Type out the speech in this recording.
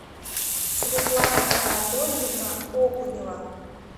светлана анатольевна окунева